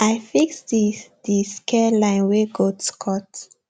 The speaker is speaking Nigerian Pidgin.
i fix the the scare line wey goats cut